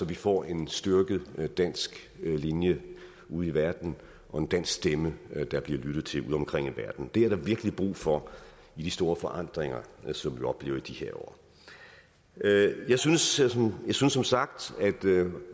vi får en styrket dansk linje ude i verden og en dansk stemme der bliver lyttet til udeomkring i verden det er der virkelig brug for i de store forandringer som vi oplever i de her år jeg synes som som sagt at